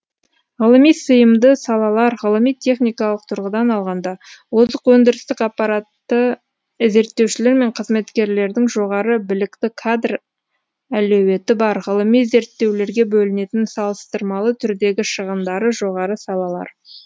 ғылыми сыйымды салалар ғылыми техникалық тұрғыдан алғанда озық өндірістік аппараты зерттеушілер мен қызметкерлердің жоғары білікті кадр әлеуметі бар ғылыми зерттеулерге бөлінетін салыстырмалы түрдегі шығындары жоғары салалар